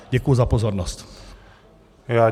Děkuji za pozornost.